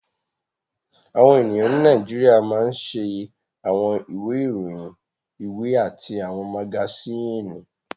Àwọn ènìyàn ní Nàìjíríà máa ń ṣe àwọn ìwé ìròyìn, ìwé àti àwọn magasíìnì